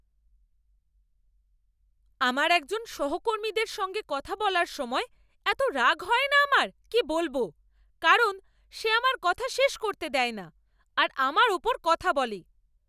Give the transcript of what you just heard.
আমার একজন সহকর্মীদের সঙ্গে কথা বলার সময় এতো রাগ হয় না আমার কী বলব, কারণ সে আমার কথা শেষ করতে দেয় না আর আমার উপর কথা বলে।